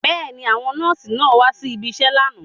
Bẹ́ẹ̀ni, àwọn nọ́ọ̀sì náà wá si ibiṣẹ́ lánàá.